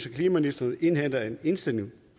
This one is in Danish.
klimaministeren indhenter en indstilling